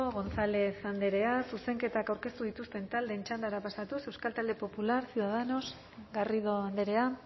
gonzález andrea zuzenketak aurkeztu dituzten taldeen txandara pasatuz euskal talde popular ciudadanos garrido andrea